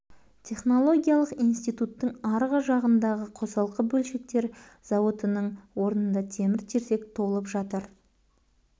технологиялық институттың арғы жағыңдағы қосалқы бөлшектер зауытының орнында темір-терсек толып жатыр